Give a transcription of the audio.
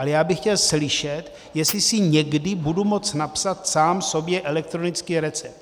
Ale já bych chtěl slyšet, jestli si někdy budu moct napsat sám sobě elektronický recept.